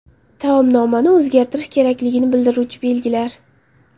Taomnomani o‘zgartirish kerakligini bildiruvchi belgilar.